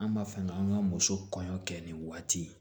An b'a fɛ ka an ka muso kɔɲɔ kɛ nin waati